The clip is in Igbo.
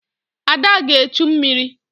Ada ga-echu mmiri